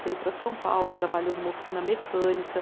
Veio para São Paulo, trabalhou numa oficina mecânica.